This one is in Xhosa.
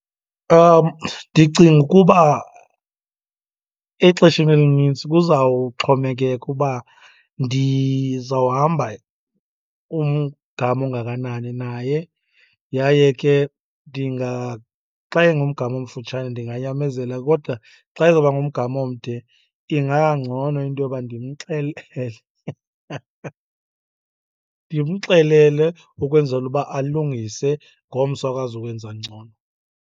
Ndicinga ukuba exesheni elinintsi kuzawuxhomekeka uba ndizawuhamba umgama ongakanani naye. Yaye ke , xa ingumgama omfutshane ndinganyamezela kodwa xa izoba ngumgama omde, ingangcono into yoba ndimxelele. Ndimxelele ukwenzela uba alungise, ngomso akwazi ukwenza ngcono.